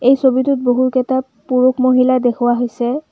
এই ছবিটোত বহুকেইটাত পুৰুষ-মহিলা দেখুওৱা হৈছে।